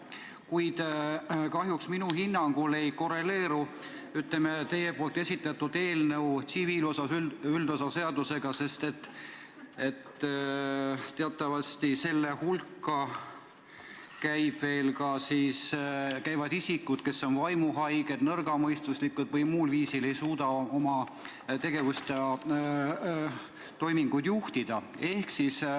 Kuid kahjuks minu hinnangul ei korreleeru teie eelnõu tsiviilseadustiku üldosa seadusega, sest teatavasti kuuluvad piiratud teovõimega isikute hulka ka need, kes on vaimuhaiged, nõrgamõistuslikud või muul viisil ei suuda oma tegevust ja toiminguid juhtida.